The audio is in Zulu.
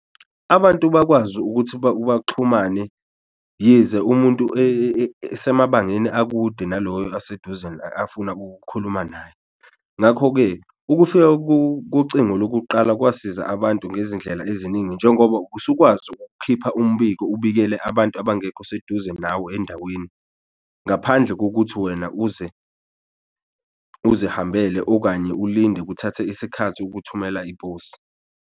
Abantu bakwazi ukuthi baxhumane yize umuntu esemabangeni akude naloyo aseduze afuna ukukhuluma naye, ngakho-ke ukufika kocingo lokuqala kwasiza abantu ngezindlela eziningi njengoba usukwazi ukhipha umbiko ubikele abantu abangekho seduze nawo endaweni. Ngaphandle kokuthi wena uze uzihambele okanye ulinde kuthathe isikhathi ukuthumela iposi.